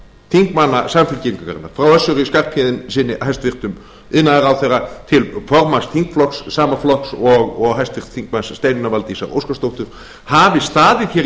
þingmanna samfylkingarinnar frá hæstvirtur iðnaðarráðherra össuri skarphéðinssyni til formanns þingflokks sama flokks og háttvirtur þingmaður steinunnar valdísar óskarsdóttur hafi staðið